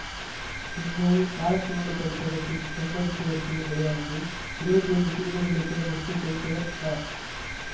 இந்நூல் காலச்சுவடு பதிப்பகத்தின் செம்பதிப்பு வரிசையில் வெளியானது இருபத்தி ஐந்து சிறுகதைகளை தேர்ந்தெடுத்து தொகுத்தவர் க